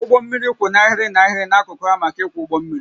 Ụgbọ mmiri kwụ n'ahịrị n'ahịrị n'akụkụ ha maka ịkwọ ụgbọ mmiri